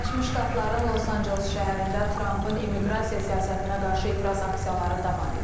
Birləşmiş Ştatların Los Anceles şəhərində Trampın immiqrasiya siyasətinə qarşı etiraz aksiyaları davam edir.